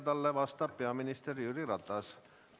Talle vastab peaminister Jüri Ratas.